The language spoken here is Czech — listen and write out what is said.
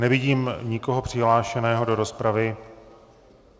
Nevidím nikoho přihlášeného do rozpravy.